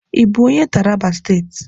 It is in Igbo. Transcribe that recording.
Ị bụ onye Taraba State?